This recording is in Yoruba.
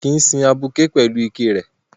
Wọn kìí sin abuké pẹ̀lú iké rẹ̀